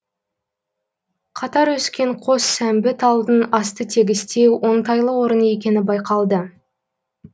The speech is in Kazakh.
қатар өскен қос сәмбі талдың асты тегістеу оңтайлы орын екені байқалды